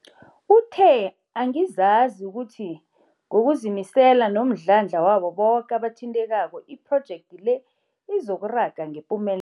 Uthe, Angizazi ukuthi ngokuzimisela nomdlandla wabo boke abathintekako, iphrojekthi le izokuraga ngepume